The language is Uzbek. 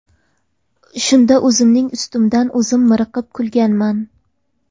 Shunda o‘zimning ustimdan o‘zim miriqib kulganman.